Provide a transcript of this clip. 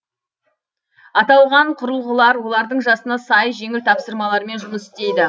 аталған құрылғылар олардың жасына сай жеңіл тапсырмалармен жұмыс істейді